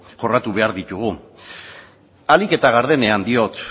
jorratu behar ditugu ahalik eta gardenean diot